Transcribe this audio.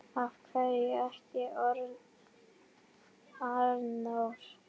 Af hverju ekki Arnór?